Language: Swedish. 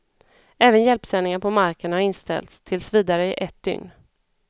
Även hjälpsändningar på marken har inställts, tills vidare i ett dygn.